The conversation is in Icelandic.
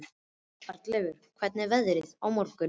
Arnleif, hvernig er veðrið á morgun?